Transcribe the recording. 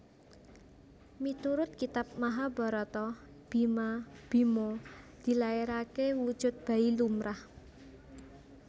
Miturut Kitab Mahabharata Bima Bhima dilairaké wujud bayi lumrah